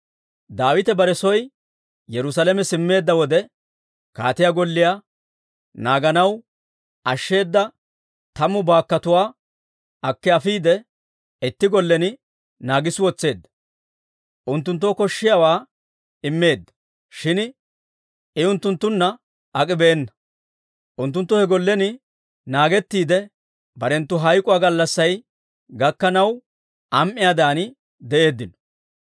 Daawite bare soo Yerusaalame simmeedda wode, kaatiyaa golliyaa naaganaw ashsheeda tammu baakkotuwaa akki afiide, itti gollen naagissi wotseedda; unttunttoo koshshiyaawaa immeedda; shin I unttunttunna ak'ibeenna. Unttunttu he gollen naagettiide, barenttu hayk'k'uwaa gallassay gakkanaw am"iyaadan de'eeddino.